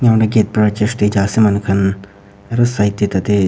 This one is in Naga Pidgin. gate para church te jai ase manu khan aru side te tate--